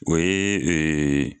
o yee ee